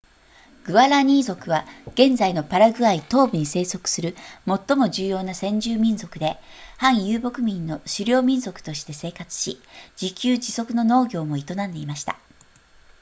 グアラニー族は現在のパラグアイ東部に生息する最も重要な先住民族で半遊牧民の狩猟民族として生活し自給自足の農業も営んでいました